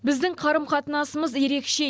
біздің қарым қатынасымыз ерекше